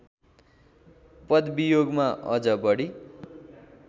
पदवियोगमा अझ बढी